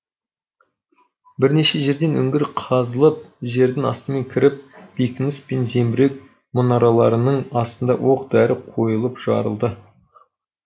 бірнеше жерден үңгір қазылып жердің астымен кіріп бекініс пен зеңбірек мұнараларының астында оқ дәрі қойылып жарылды